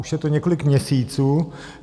Už je to několik měsíců.